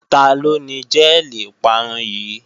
Taló ni jẹ́ẹ̀lì ìparun yìí?